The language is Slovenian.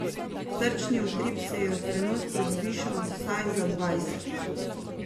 Srčni utrip se ji je v trenutku zvišal vsaj za dvajset.